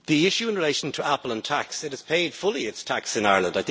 The issue in relation to Apple and tax it has paid fully its tax in Ireland.